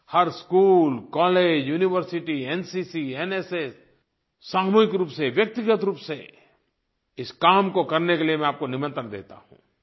हर school college university NCC NSS सामूहिक रूप से व्यक्तिगत रूप से इस काम को करने के लिए मैं आपको निमंत्रण देता हूँ